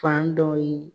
Fan dɔw ye